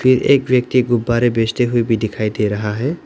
एक व्यक्ति गुब्बारे बेचते हुए भी दिखाई दे रहा है।